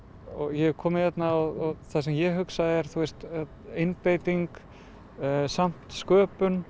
ég hef komið hérna og það sem ég hugsa er einbeiting samt sköpun